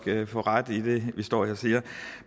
får ret